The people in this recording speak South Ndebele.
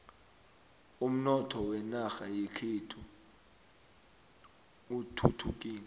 umnotho wenarha yekhethu uthuthukile